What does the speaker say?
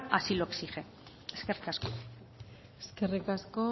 así lo exige eskerrik asko eskerrik asko